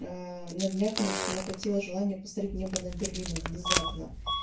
аа на днях мне что-то накатило желание посмотреть небо над берлином внезапно